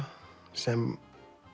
sem